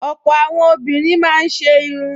Ọ̀pọ̀ àwọn obìnrin máa ń ṣe irun